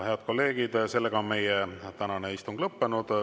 Head kolleegid, meie tänane istung on lõppenud.